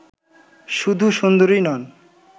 শুধু সুন্দরীই নন